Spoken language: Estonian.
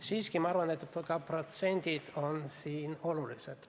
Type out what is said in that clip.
Samas ma arvan, et ka protsendid on olulised.